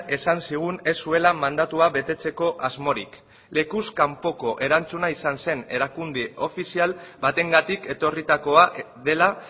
esan zigun ez zuela mandatua betetzeko asmorik lekuz kanpoko erantzuna izan zen erakunde ofizial batengatik etorritakoa dela